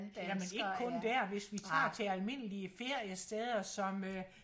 ja men ikke kun der hvis vi tager til almindelige feriesteder som øh